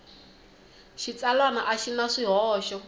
xitsalwana a xi na swihoxo